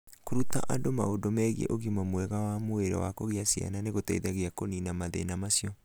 Kũruta andũ maũndũ megiĩ ũgima mwega wa mwĩrĩ wa kũgĩa ciana nĩ gũteithagia kũniina mathĩna macio.